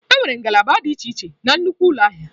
Enwere ngalaba dị iche iche na nnukwu ụlọ ahịa.